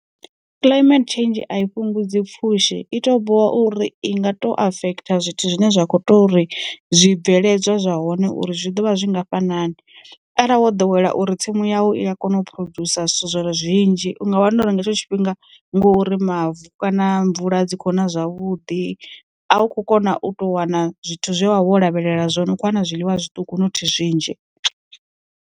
Climate change a i fhungudza pfhushi, i to bola uri i nga to affecta zwithu zwine zwa kho to ri zwibveledzwa zwa hone uri zwi ḓovha zwingafha nani arali wo ḓowela uri tsimu yau i ya kona u phurodzhusa zwithu zwinzhi, u nga wana uri nga hetsho tshifhinga, ngori mavu kana mvula dzi kho na zwavhuḓi, a u kho kona u tou wana zwithu zwe wa vha wo lavhelela zwone u kho wana zwiḽiwa zwiṱuku nothi zwinzhi.